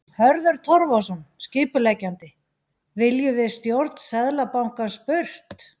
Hörður Torfason, skipuleggjandi: Viljum við stjórn Seðlabankans burt?